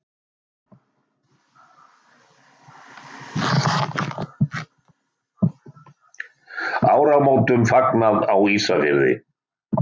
Áramótum fagnað á Ísafirði.